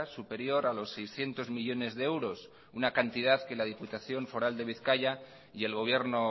superior a los seiscientos millónes de euros una cantidad que la diputación foral de bizkaia y el gobierno